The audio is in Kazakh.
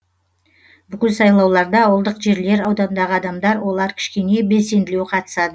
бүкіл сайлауларда ауылдық жерлер аудандағы адамдар олар кішкене белсенділеу қатысады